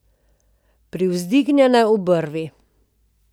Privzdignjene obrvi.